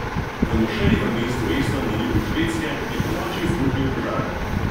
V mošeji v mestu Eslov na jugu Švedske je ponoči izbruhnil požar.